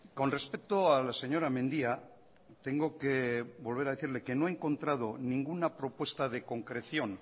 con respecto a la señora mendia tengo que volver a decirle que no he encontrado ninguna propuesta de concreción